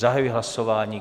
Zahajuji hlasování.